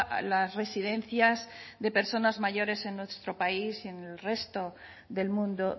a las residencias de personas mayores en nuestro país y en el resto del mundo